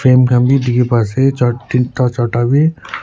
khan bhi dekhe pa ase char tinta charta bhi--